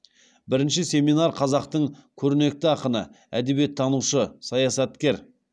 бірінші семинар қазақтың көрнекті ақыны әдебиеттанушы саясаткер